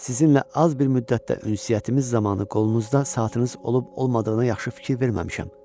Sizinlə az bir müddətdə ünsiyyətimiz zamanı qolunuzda saatınız olub-olmadığına yaxşı fikir verməmişəm.